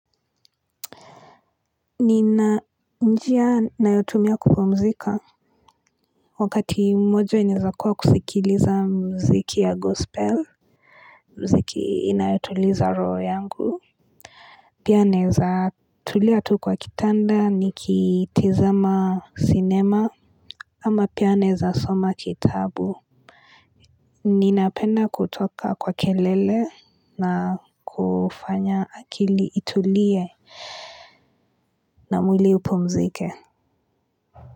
Nina njia nayotumia kupumzika wakati mmoja inaeza kuwa kusikiliza muziki ya gospel. Mziki inayotuliza roho yangu. Pia naeza tulia tu kwa kitanda nikitizama cinema. Ama pia naeza soma kitabu. Ninapenda kutoka kwa kelele na kufanya akili itulie. Na mwili upumzike.